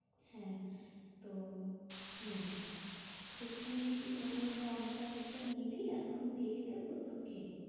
হ্যাঁ, তো হম তো তুই ওনার contact টা নিবি এখন দিয়ে দেব তোকে?